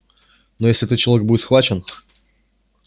но если этот человек будет схвачен